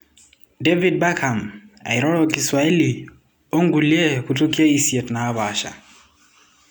David Beckham eiroro kiswahili onkulie kutukie isiet napasha.